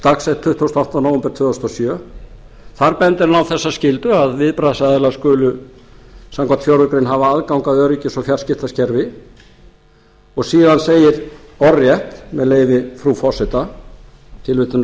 dagsett tuttugasta og áttunda nóvember tvö þúsund og sjö þar bendir hann á þessa skyldu að viðbragðsaðilar skulu samkvæmt fjórðu greinar hafa aðgang að öryggis og fjarskiptakerfi og síðan segir orðrétt með leyfi frú forseta tilvitnunin er